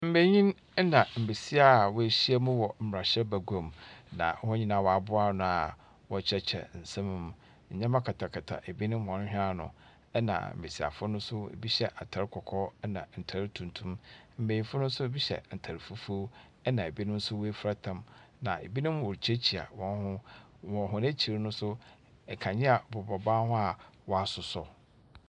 Mbanyin na mbasiafo a wɔahyia wɔ mbrahyɛbaguamu, na wɔn nyina wɔaboa ano a wɔrekyerɛkyerɛ nsɛm mu. Ndzɛmba katakata binom hɔn hwen ano, na mbasiafo no, binom hyɛ atar kɔkɔɔ na ntar tuntum. Mbanyin no so binom hyɛ atar fufuw na binom nso woefura tam. Na binom worikyiakyia hɔn ho, wɔ hɔn ekyir no so, nkanea a bobɔ ban ho a wɔasosɔ.